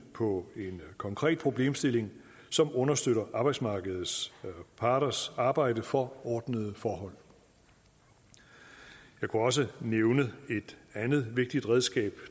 på en konkret problemstilling som understøtter arbejdsmarkedets parters arbejde for ordnede forhold jeg kunne også nævne et andet vigtigt redskab